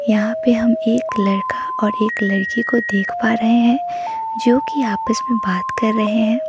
यहां पे हम एक लड़का और एक लड़की को देख पा रहे हैं जो कि आपस में बात कर रहे हैं।